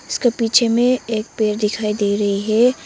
इसका पीछे में एक पेड़ दिखाई दे रही है।